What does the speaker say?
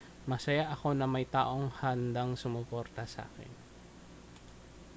masaya ako na may mga taong handang sumuporta sa akin